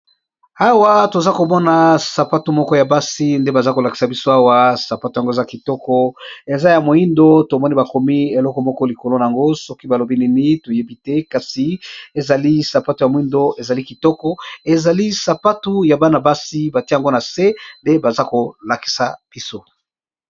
Awa toza komona sapatu moko ya basi nde baza kolakisa biso awa sapatu yango eza kitoko eza ya moyindo tomoni bakomi eloko moko likolo nango soki balobi nini toyebi te kasi ezali sapatu ya moyindo ezali kitoko ezali sapatu ya bana-basi batia yango na se ndenge baza kolakisa biso.